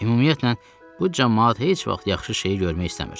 Ümumiyyətlə bu camaat heç vaxt yaxşı şeyi görmək istəmir.